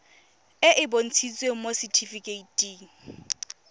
e e bontshitsweng mo setifikeiting